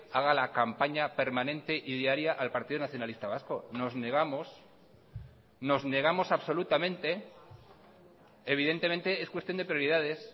haga la campaña permanente y diaria al partido nacionalista vasco nos negamos nos negamos absolutamente evidentemente es cuestión de prioridades